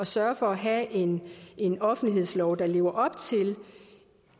sørger for at have en en offentlighedslov der lever op til